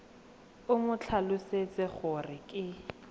o mo tlhalosetse gore ke